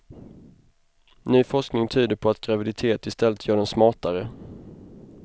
Ny forskning tyder på att graviditet i stället gör dem smartare.